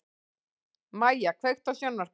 Mæja, kveiktu á sjónvarpinu.